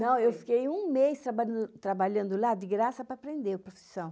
Não, eu fiquei um mês trabalhando trabalhando lá de graça para aprender a profissão.